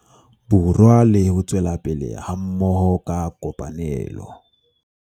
Borwa le ho tswela pele hammoho ka kopanelo.